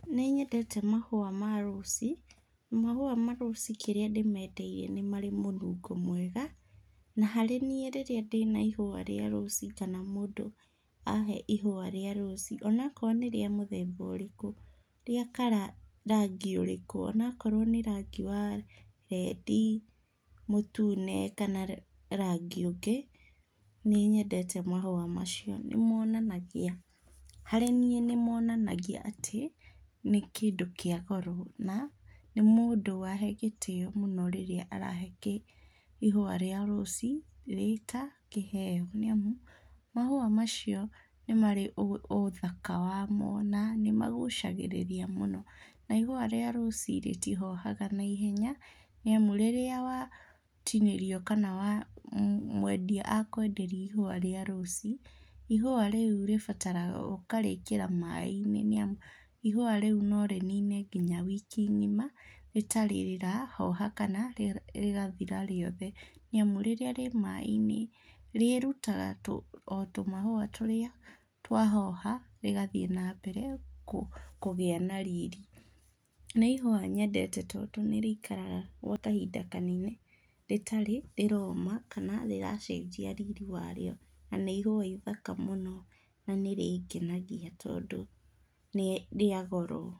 Nĩnyendete mahũa ma rũci na mahũa ma rũci kĩrĩa ndĩmendeire nĩ marĩ mũnungo mwega na harĩ niĩ rĩrĩa ndĩna ihũa rĩa rũci kana rĩrĩa mũndũ ahee ihũa ríĩ rũci, ona akorwo nĩ rĩa mũthemba ũrĩkũ rĩa kara, rangi ũrĩkũ, ona akorwo nĩ rangi wa rendi, mũtune kana rangi ũngĩ, nĩnyendete mahũa macio, nĩmonanagia, harĩ niĩ nĩmonanagia atĩ nĩ kĩndũ kĩa goro na nĩ mũndũ wahe gĩtĩo mũno rĩrĩa arahe ihũa rĩa rũci rĩrĩa itangĩheo nĩamũ mahũa macio nĩmarĩ ũthaka wamo na nĩmagucagĩrĩria mũno na ihũa rĩa rũci rĩtihohaga na ihenya nĩamu rĩrĩa watinĩrio kana mwendia akwenderia ihũa rĩa rũci, ihũa rĩu rĩbataraga ũkarĩkĩra maĩ-inĩ níĩmu ihũa rĩu no rĩnine ngina wiki ng'ima rĩtarĩ rĩrahoha kana rĩgathira rĩothe nĩamu rĩrĩa rĩ mai-inĩ, rĩrutaga o tũmahũa tũríĩ twahoha, rĩgathiĩ na mbere kũgĩa na riri. Nĩ ihũa nyendete tondũ nĩ rĩikaraga gwa kahinda kanene rĩtarĩ rĩroma kana rĩracenjia riri wario na ihũa ithaka mũno na nĩrĩngenagia tondũ nĩ rĩa goro.